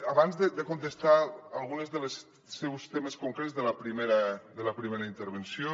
abans de contestar alguns dels seus temes concrets de la primera intervenció